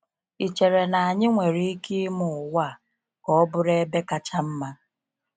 Ị́ chere na anyị nwere ike ime ụwa a ka ọ bụrụ ebe kacha mma?